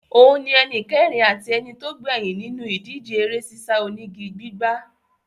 Òun ni ẹnìkẹrin àti ẹnitógbẹ́yìn nínú ìdíje eré sísá onígi gbígbà.